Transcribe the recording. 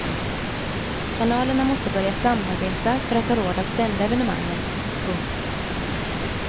Kanalerna måste börja samarbeta för att ha råd att sända evenemangen. punkt